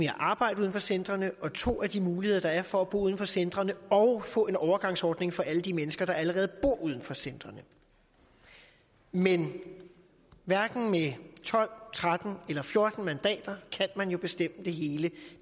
at arbejde uden for centrene og for to af de muligheder der er for at bo uden for centrene og at få en overgangsordning for alle de mennesker der allerede bor uden for centrene men hverken med tolv tretten eller fjorten mandater kan man jo bestemme det hele